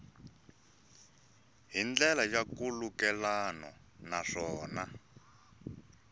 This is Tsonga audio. hi ndlela ya nkhulukelano naswona